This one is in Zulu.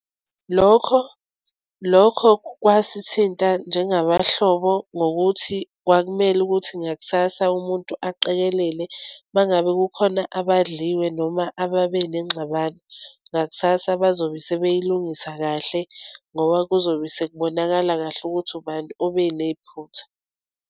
Lokho lokho kwasithinta njengabahlobo ngokuthi kwakumele ukuthi ngakusasa umuntu aqikelele uma ngabe kukhona abadliwe, noma ababe nengxabano. Ngaksasa bazobe sebeyilungisila kahle ngoba kuzobe sekubonakala kahle ukuthi ubani obenephutha.